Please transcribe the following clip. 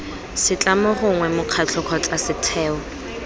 setlamo gongwe mokgatlho kgotsa setheo